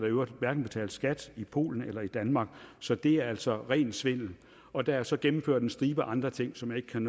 i øvrigt hverken betalt skat i polen eller i danmark så det er altså rent svindel og der er så gennemført en stribe andre ting som jeg ikke kan